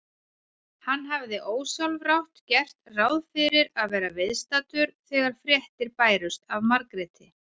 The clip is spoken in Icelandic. Hann hafði ósjálfrátt gert ráð fyrir að vera viðstaddur þegar fréttir bærust af Margréti.